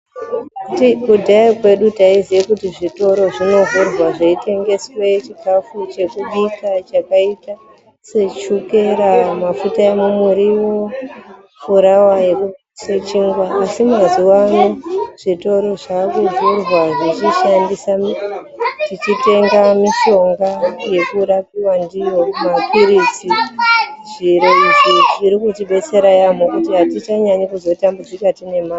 Kudhaya kwedu taiziya kuti zvitoro zvinovhurwa zveitengeswe chikhafu chekubika zvakaita sechukera, mafuta ekubikisa muriwo, furawa yekubikisa chingwa asi mazuwa ano zvitoro zvakuvhurwa tichitengesa mapirizi. Zviro izvi zvinobatsira ra yaamho kuti atichanyanyi kuneseka tiine mare.